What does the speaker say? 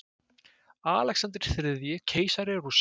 Alexander þriðji, keisari Rússa.